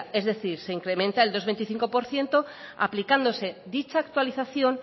es decir se incrementa el dos coma veinticinco por ciento aplicándose dicha actualización